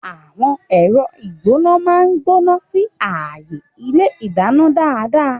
Àwọn ẹ̀rọ ìgbóná máa ń gbóná sí ààyè ilé ìdáná dáadáa.